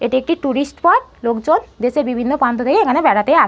এটি একটি tourist spot লোকজন দেশের বিভিন্ন প্রান্ত থেকে এখানে বেড়াতে আ--